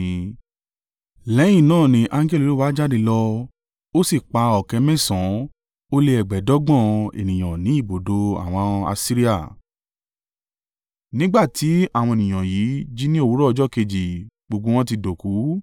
Lẹ́yìn náà ni angẹli Olúwa jáde lọ ó sì pa ọ̀kẹ́ mẹ́sàn-án ó lé ẹgbẹ̀ẹ́dọ́gbọ̀n (185,000) ènìyàn ní i ibùdó àwọn Asiria. Nígbà tí àwọn ènìyàn yìí jí ní òwúrọ̀ ọjọ́ kejì gbogbo wọn ti dòkú!